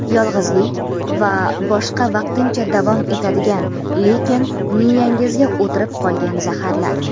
yolg‘izlik va boshqa vaqtincha davom etadigan lekin miyyangizga o‘tirib qolgan zaharlar.